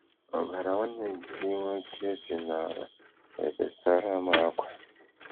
Ọbara nwanne gị nwoke si n'ala ebesara mụ ákwá.